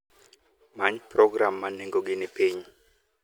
Many program ma nengone ni piny.